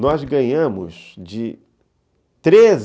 Nós ganhamos de treze